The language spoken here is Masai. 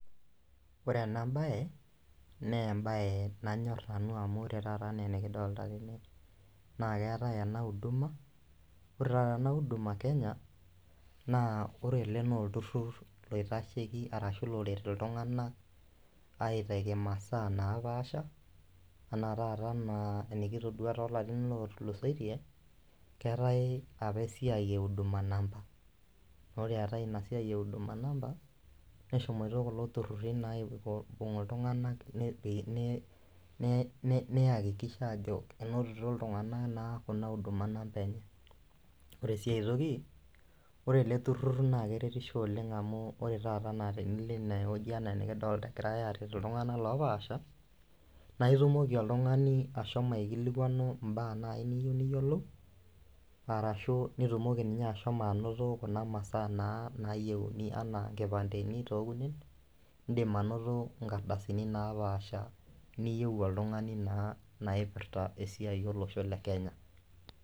Ote ena baye nembaye nanyorr nanu amu ore taata enaa enikidolta tene naa keetae ena uduma ore taa tene uduma kenya naa ore ele nolturrur loitasheki arashu loret iltung'ana aitaki imasaa napaasha ana taata anaa enikitodua tolarin otulusoitie keetae apa esiai e huduma namba nore eetae ina siai e huduma namba neshomoito kulo turruri naa aiko aibung iltung'anak ne nei neyakikisha aajo enotito iltung'ana naa kuna huduma namba enye ore sii aetoki ore ele turrur naa keretisho oleng amu ore taata na tenilo inawoji anaa enikidolta egirae aret iltung'anak lopaasha naa itumoki oltung'ani ashomo aikilikuanu imbaa naaji niyou niyiolou arashu nitumoki ninye ashomo anoto kuna masaa naa nayieuni anaa nkipandeni tokunen indim anoto inkardasini napaasha niyieu oltung'ani naa naipirrta esiai olosho le kenya.